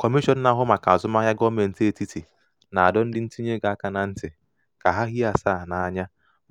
kọmishọn na-ahụ maka azụmahịa gọọmentị etiti na-adọ ndị ntinyeego aka na ntị ka hie asaa n'anya